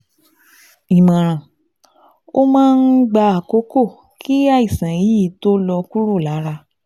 Ìmọ̀ràn: Ó máa ń gba àkókò kí àìsàn yìí tó lọ kúrò lára